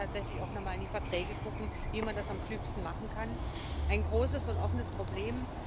Da muss man tatsächlich auch noch mal in die Verträge gucken, wie man das am klügsten machen kann ein großes und offenes Problem.